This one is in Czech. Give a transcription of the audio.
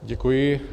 Děkuji.